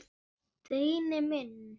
Steini minn.